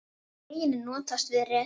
Einnig er notast við reknet.